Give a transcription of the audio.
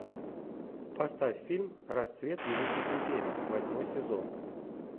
поставь фильм расцвет великих империй восьмой сезон